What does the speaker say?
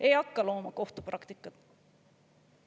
Ei hakka looma kohtupraktikat.